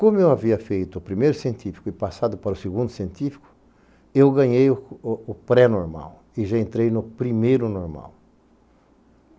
Como eu havia feito o primeiro científico e passado para o segundo científico, eu ganhei o o pré-normal e já entrei no primeiro normal.